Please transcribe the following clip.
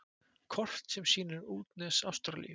Kort sem sýnir útnes Ástralíu.